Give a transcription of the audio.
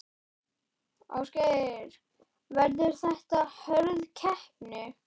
Ásgeir: Verður þetta hörð keppni?